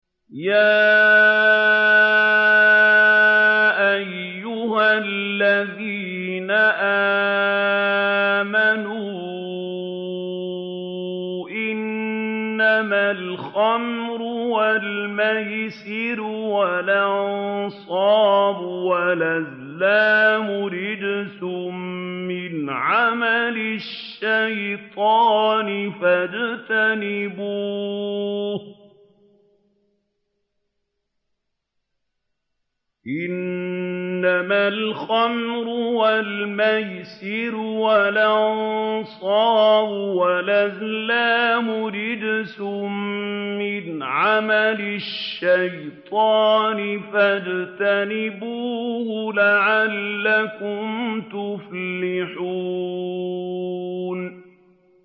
يَا أَيُّهَا الَّذِينَ آمَنُوا إِنَّمَا الْخَمْرُ وَالْمَيْسِرُ وَالْأَنصَابُ وَالْأَزْلَامُ رِجْسٌ مِّنْ عَمَلِ الشَّيْطَانِ فَاجْتَنِبُوهُ لَعَلَّكُمْ تُفْلِحُونَ